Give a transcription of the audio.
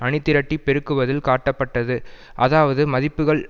அணிதிரட்டிப் பெருக்குவதில் காட்டப்பட்டது அதாவது மதிப்புகள்